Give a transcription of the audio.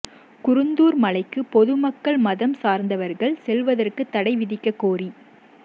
குருந்தூர் மலைக்கு பொதுமக்கள் மதம் சார்ந்தவர்கள் செல்வதற்கு தடை விதிக்கக் கோரி